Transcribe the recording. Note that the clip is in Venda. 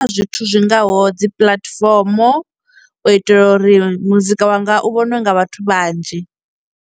Kha zwithu zwingaho dzi puḽatifomo u itela uri muzika wanga u vhonwe nga vhathu vhanzhi.